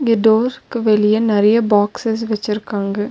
இங்க டோருக்கு வெளிய நெறைய பாக்ஸ்ஸஸ் வெச்சிருக்காங்க.